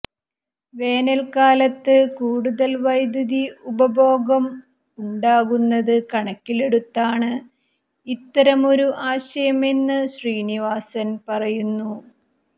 വേനൽക്കാലത്ത് കൂടുതൽ വൈദ്യുതി ഉപഭോഗം ഉണ്ടാകുന്നത് കണക്കിലെടുത്താണ് ഇത്തരമൊരു ആശയമെന്ന് ശ്രീനിവാസൻ പറയുന്നു